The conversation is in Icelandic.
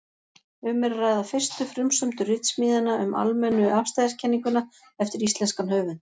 Um er að ræða fyrstu frumsömdu ritsmíðina um almennu afstæðiskenninguna eftir íslenskan höfund.